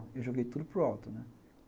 Eu joguei tudo para o alto, né.